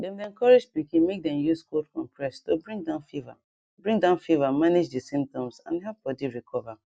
dem dey encourage pikin make dem use cold compress to bring down fever bring down fever manage di symptoms and help body recover